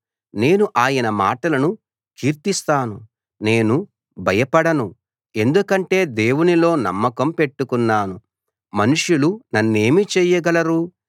నేను ఆయన మాటలను కీర్తిస్తాను నేను భయపడను ఎందుకంటే దేవునిలో నమ్మకం పెట్టుకున్నాను మనుషులు నన్నేమి చేయగలరు